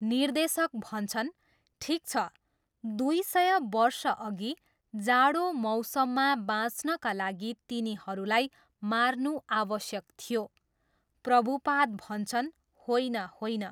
निर्देशक भन्छन्, ठिक छ, दुई सय वर्षअघि जाडो मौसममा बाँच्नका लागि तिनीहरूलाई मार्नु आवश्यक थियो। प्रभुपाद भन्छन्, होइन होइन।